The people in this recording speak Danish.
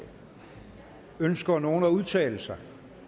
ønsker nogen at udtale sig